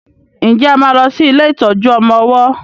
nje a má ló sì ilé ìtọjú ọmọ ọwó?